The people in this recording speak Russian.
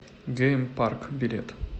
гейм парк билет